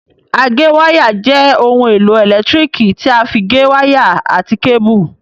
Agéwáyà jẹ́ ohun èlò ẹ̀lẹ́tíríkì tí a fí gé wáyà àti kébù